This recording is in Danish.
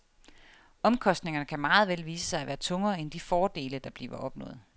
Omkostningerne kan meget vel vise sig at være tungere end de fordele, der bliver opnået.